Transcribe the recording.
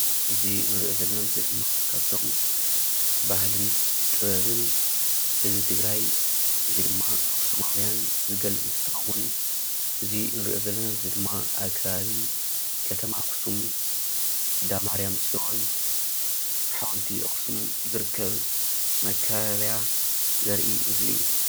እዚ ንሪኦ ዘለና ምስሊ ድማ ካብቶም ባህልን ጥበብን ህዝቢ ትግራይ ወይ ድማ ኣኽሱማውያን ዝገልፅ እንትኸውን እዚ ንሪኦ ዘለና ምስሊ ድማ ኣብ ከባቢ ከተማ ኣኽሱም እንዳ ማርያም ፅዮን ሓወልቲ ኣኽሱም ዝርከብ መካበብያ ዘርኢ ምስሊ፡፡